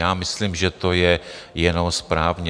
Já myslím, že to je jenom správně.